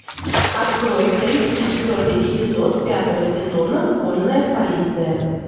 открой тридцать четвертый эпизод пятого сезона конная полиция